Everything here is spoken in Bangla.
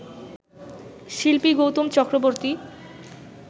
শিল্পী গৌতম চক্রবর্তী